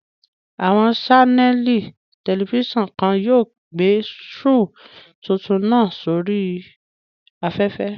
Àwọn ṣánẹ̀lì tẹlifísàn kan yóò gbé shoò tuntun náà sí oríi afẹ́fẹ́